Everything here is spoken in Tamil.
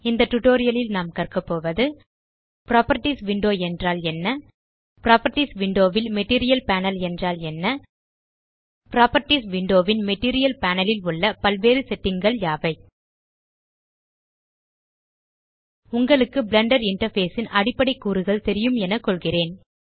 இந்த டியூட்டோரியல் ல் நாம் கற்க போவது புராப்பர்ட்டீஸ் விண்டோ என்றால் என்ன புராப்பர்ட்டீஸ் விண்டோ ல் மெட்டீரியல் பேனல் என்றால் என்ன புராப்பர்ட்டீஸ் விண்டோ ன் மெட்டீரியல் பேனல் உள்ள பல்வேறு settingகள் யாவை உங்களுக்கு பிளெண்டர் இன்டர்ஃபேஸ் ன் அடிப்படை கூறுகள் தெரியும் என கொள்கிறேன்